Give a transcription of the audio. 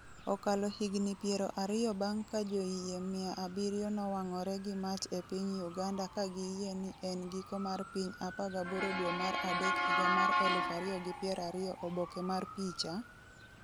Okalo higni piero ariyo bang’ ka joyie mia abiriyo nowang’ore gi mach e piny Uganda ka giyie ni en giko mar piny 18 dwe mar adek higa mar 2020 Oboke mar picha, .